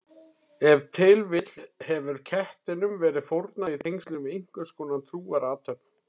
Ef til vill hefur kettinum verið fórnað í tengslum við einhverskonar trúarathöfn.